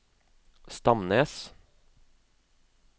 Stamnes